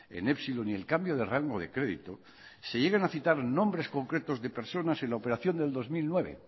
en epsilon y el cambio de rango de crédito se llegan a citar nombres concretos de personas en la operación del dos mil nueve